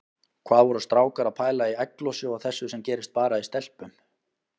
Hvað voru strákar að pæla í egglosi og þessu sem gerist bara í stelpum!